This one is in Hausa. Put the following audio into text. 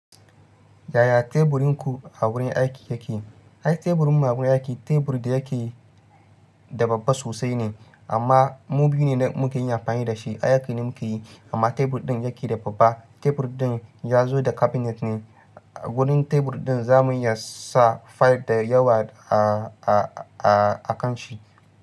Yaya teburin ku a wurin aiki yake? Ai teburin mu a wurin aiki, tebur da yake da babba sosai ne amma mu biyu ne muke yin amfani da shi, ayyukan da muke yi. Amma tebur ɗin yake da babba. Tebur ɗin ya zo da cabinet ne. A gurin tebur ɗin za mu iya sa file da yawa a-a-akan shi.